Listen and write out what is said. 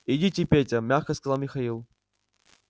идите петя мягко сказал михаил